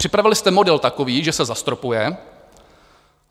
Připravili jste model takový, že se zastropuje.